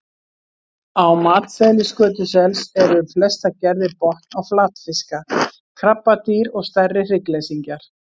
Á matseðli skötusels eru flestar gerðir botn- og flatfiska, krabbadýr og stærri hryggleysingjar.